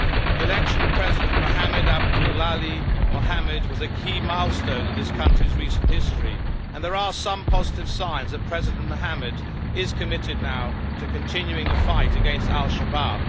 The election of President Mohamed Abdullahi Mohamed was a milestone in this country's recent history and there are some positive signs that President Mohamed is committed now to continuing the fight against al Shabaab.